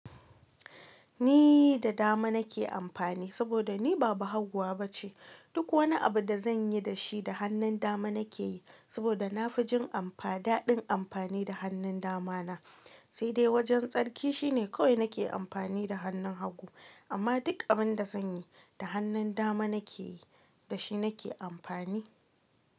Ni da dama nake amfani saboda ni ba bahaguwa ba ce. Duk wani abu da zan yi da shi, da hannun dama nake yi saboda na fi jin amfa-- daɗin amfani da hannun dama na. Sai dai wajen tsarki shine kawai nake amfani da hannun hagu. Amma duk abin da zan yi, da hannun dama nake yi, da shi nake amfani.